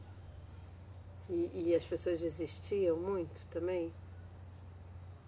E, e as pessoas desistiam muito também?